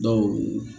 Dɔw